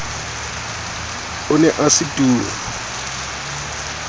o ne o se turu